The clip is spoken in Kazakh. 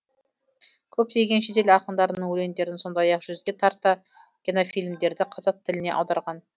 көптеген шетел ақындарының өлеңдерін сондай ақ жүзге тарта кинофильмдерді қазақ тіліне аударған